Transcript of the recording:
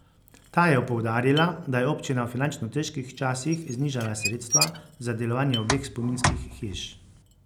Ta je poudarila, da je občina v finančno težkih časih znižala sredstva za delovanje obeh spominskih hiš.